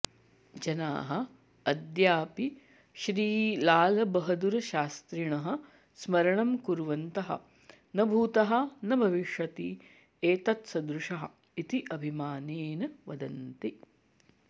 जनाः अद्यापि श्रीलालबहदुरशास्त्रिणः स्मरणं कुर्वन्तः न भूतः न भविष्यति एतत्सदृशः इति अभिमानेन वदन्ति